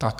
Tak.